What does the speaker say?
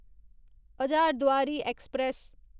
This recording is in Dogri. हजारदुआरी ऐक्सप्रैस